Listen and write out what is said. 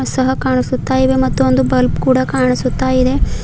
ಸಹ ಕಾಣಸುತ್ತಾಇವೆ ಮತ್ತು ಒಂದು ಬಲ್ಬ್ ಕೂಡ ಕಾಣಸುತ್ತಾಇದೆ.